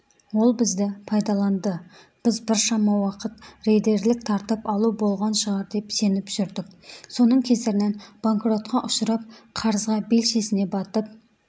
ол бізді пайдаланды біз біршама уақыт рейдерлік тартып алу болған шығар деп сеніп жүрдік соның кесірінен банкротқа ұшырап қарызға белшесіне батып